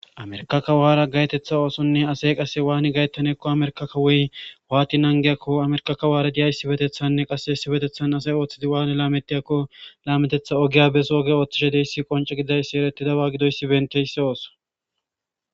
Amerkakawaara gaytetha oosonne asey qase waani gayttaneekko amerkakawoy waati nangiyakko amerkakawaara diya issibetethanne qase essibetethan asay ooththidi waani laametiyakko laametetha ogiya beso oge ooththishe deyssi qonco gidayssi erettidawaa gidoysi benteyssi ooso